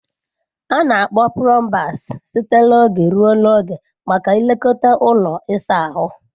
A na-akpọ plumbers site n'oge ruo n'oge maka nlekọta ụlọ ịsa ahụ.